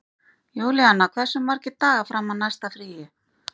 Júlíanna, hversu margir dagar fram að næsta fríi?